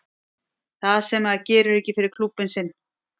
Það sem að maður gerir ekki fyrir klúbbinn sinn.